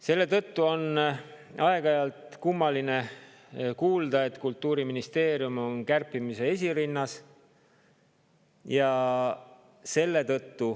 Selle tõttu on kummaline kuulda seda, mida aeg-ajalt öeldakse, et Kultuuriministeerium on kärpimise esirinnas.